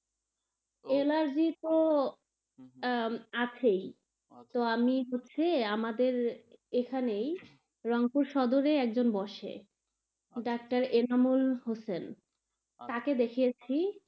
Allergy তো আছেই, তো আমি হচ্ছে আমাদের এখানেই রঙ পুর সদরে একজন বসে, ডাক্তার এনামুল হোসেন তাকে দেখিয়েছি.